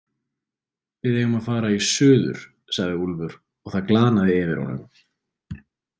Við eigum að fara í suður, sagði Úlfur og það glaðnaði yfir honum.